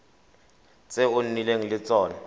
tse o nnileng le tsone